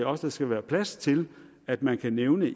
også være plads til at man kan nævne